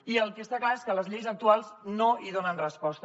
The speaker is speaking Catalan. i el que està clar és que les lleis actuals no hi donen resposta